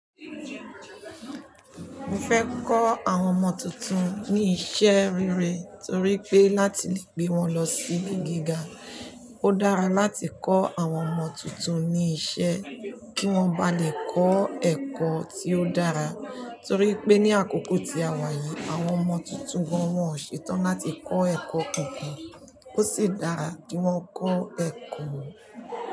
Mo fẹ́ kọ́ àwọn ọmọ tuntun ní iṣẹ́ rere torí pé láti lè gbé wọn lọ sí ilé gíga, ó dára láti kọ́ àwọn ọmọ tuntun ní iṣẹ́ kí wọ́n ba lè kọ́ ẹ̀kọ́ tí ó dára. Torí pé ní àkókò tí a wà yìí, àwọn ọmọ tuntun wọ́n ò ṣe tán láti kọ́ ẹ̀kọ́ kankan. Ó sì dára kí wọ́n kọ́ ẹ̀kọ́